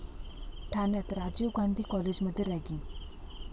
ठाण्यात राजीव गांधी कॉलेजमध्ये रॅगिंग